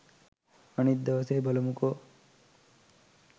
අනිත් දවසේ බලමුකෝ